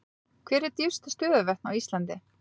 Hver eru dýpstu stöðuvötn á Íslandi?